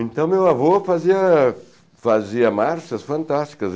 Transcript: Então meu avô fazia fazia marchas fantásticas.